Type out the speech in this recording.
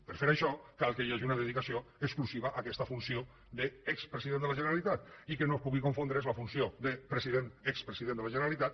per fer això cal que hi hagi una dedicació exclusiva a aquesta funció d’expresident de la generalitat i que no es pugui confondre la funció de president expresident de la generalitat